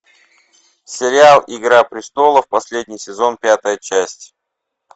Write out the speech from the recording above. сериал игра престолов последний сезон пятая часть